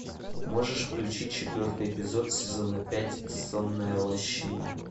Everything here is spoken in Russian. можешь включить четвертый эпизод сезона пять сонная лощина